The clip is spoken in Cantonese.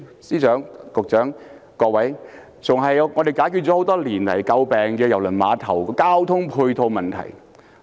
司長、局長、各位議員，這更能解決多年來為人詬病的郵輪碼頭交通配套的問題。